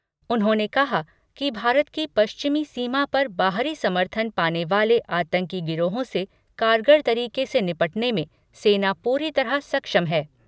उन्होंने कहा कि भारत की पश्चिमी सीमा पर बाहरी समर्थन पाने वाले आतंकी गिरोहों से कारगर तरीके से निपटने में सेना पूरी तरह सक्षम है।